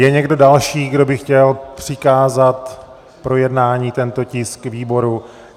Je někdo další, kdo by chtěl přikázat k projednání tento tisk výboru?